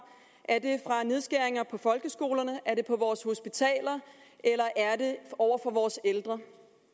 nedskæringer på folkeskolerne på vores hospitaler eller over for vores ældre